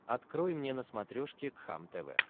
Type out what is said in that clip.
открой мне на смотрешке кхлм тв